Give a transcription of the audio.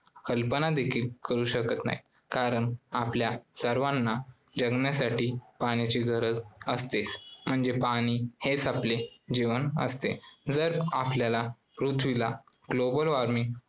कल्पना देखील करू शकत नाही कारण आपल्या सर्वांना जगण्यासाठी पाण्याची गरज असतेच म्हणजे पाणी हेच आपले जीवन असते. जर आपल्याला पृथ्वीला global warming